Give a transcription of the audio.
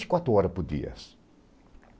vinte e quatro horas por dia.